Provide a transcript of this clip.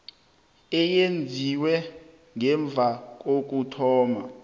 eyenziwe ngemva kokuthoma